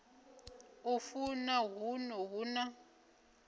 a funa huno hu na